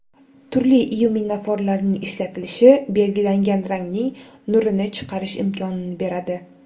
Turli lyuminoforlarning ishlatilishi belgilangan rangning nurini chiqarish imkonini beradi.